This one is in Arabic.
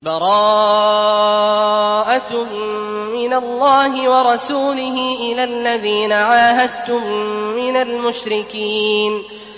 بَرَاءَةٌ مِّنَ اللَّهِ وَرَسُولِهِ إِلَى الَّذِينَ عَاهَدتُّم مِّنَ الْمُشْرِكِينَ